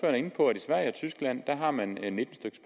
er inde på at i sverige og tyskland har man nitten styk